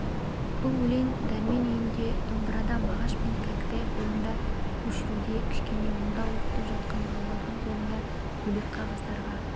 бұл өлең дәрмен үйінде домбырада мағаш пен кәкітай қолында көшіруде кішкене молда оқытып жатқан балалардың қолында бөлек қағаздарға